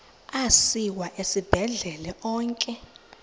asiwa esibhedlele onke